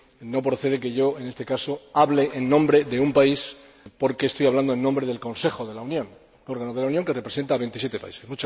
no procede que, en este caso, hable en nombre de un país, porque estoy hablando en nombre del Consejo de la Unión, un órgano de la Unión que representa a veintisiete países.